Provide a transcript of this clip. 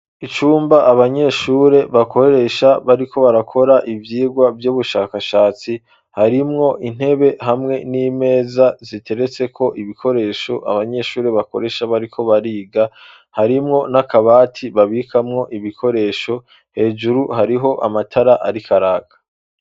Icumba abanyeshure bakoresha bariko barakora ivyigwa vy'ubushakashatsi harimwo intebe hamwe n'imeza ziteretse ko ibikoresho abanyeshure bakoresha bariko bariga harimwo n'akabati babikamwo ibikoresho hejuru hariho amatara ariko araka.